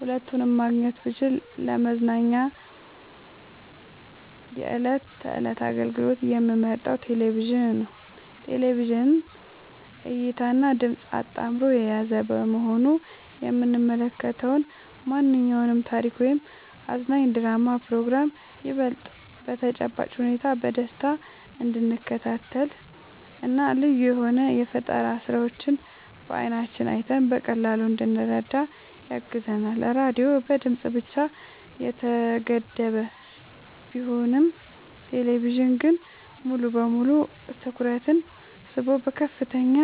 ሁለቱንም ማግኘት ብችል ለመዝናኛ የዕለት ተዕለት አገልግሎት የምመርጠው ቴሌቪዥንን ነው። ቴሌቪዥን እይታንና ድምጽን አጣምሮ የያዘ በመሆኑ የምንመለከተውን ማንኛውንም ታሪክ ወይም አዝናኝ ድራማና ፕሮግራም ይበልጥ በተጨባጭ ሁኔታ በደስታ እንድንከታተልና ልዩ የሆኑ የፈጠራ ስራዎችን በዓይናችን አይተን በቀላሉ እንድንረዳ ያግዘናል። ራዲዮ በድምጽ ብቻ የተገደበ ቢሆንም ቴሌቪዥን ግን ሙሉ በሙሉ ትኩረትን ስቦ በከፍተኛ